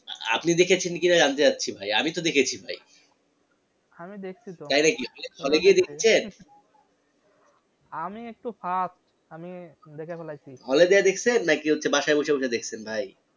আ~আপনি দেখেছেন কিনা জানতে চাচ্ছি ভাই আমি তো দেখেছি ভাই আমি দেখসি তো। তাই নাকি? hall এ গিয়ে দেখসেন? আমি একটু fast আমি দেখে ফালাইসি। hall এ যায়া দেখসেন নাকি হচ্ছে বাসায় বসে বসে দেখসেন ভাই?